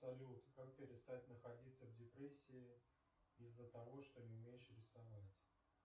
салют как перестать находиться в депрессии из за того что не умеешь рисовать